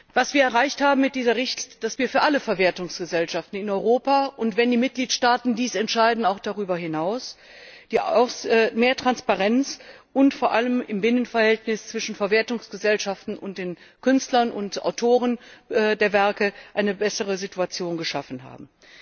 Was wir erreicht haben mit dieser Richtlinie, ist, dass wir für alle Verwertungsgesellschaften in Europa und wenn die Mitgliedstaaten dies entscheiden auch darüber hinaus mehr Transparenz und vor allem im Binnenverhältnis zwischen Verwertungsgesellschaften und den Künstlern und Autoren der Werke eine bessere Situation geschaffen haben.